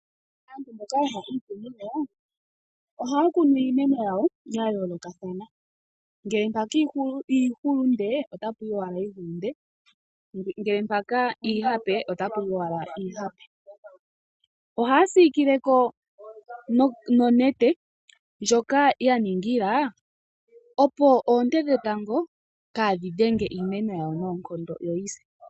Aantu mboka ye hole iikunino ohaya kunu iimeno yawo ya yoolokathana, ngele mpaka iihulunde otapu yi owala iihulunde. Ngele mpaka iihape otapu yi owala iihape. Ohaya siikile ko nonete ndjoka ya ningila opo oonte dhetango kadhi dhenge iimeno yawo noonkondo yoyi se.